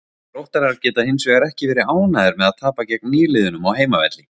Þróttarar geta hinsvegar ekki verið ánægðir með að tapa gegn nýliðunum á heimavelli.